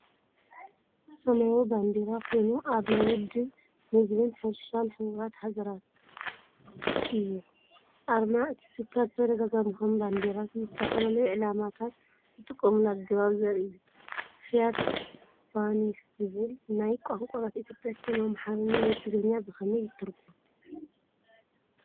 ሰማያዊ ባንዴራ ኮይኑ ኣርማ ውድብ መግብን ሕርሻን ሕቡራት ሃገራት (FAO) እዩ። ኣርማ እቲ ትካል ብተደጋጋሚ ከም ባንዴራ ንዝተፈላለዩ ዕላማታት ዝጥቀመሉ ኣገባብ ዘርኢ እዩ። "ፍያት ፓኒስ" ዝብል ቃል ናብ ቋንቋታት ኢትዮጵያ፡ ከም ኣምሓርኛ ወይ ትግርኛ ብኸመይ ይትርጎም?